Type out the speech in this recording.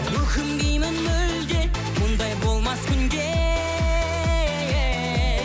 өкінбеймін мүлде мұндай болмас күнде